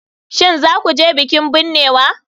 Shin za ku je bikin binnewa?